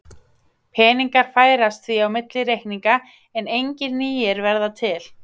Peningar færast því á milli reikninga en engir nýir verða til.